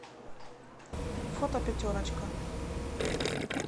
фото пятерочка